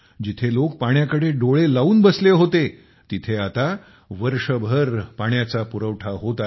जिथे लोक पाण्याकडे डोळे लावून बसले होते तिथे आता वर्षभर पाण्याचा पुरवठा होत आहे